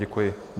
Děkuji.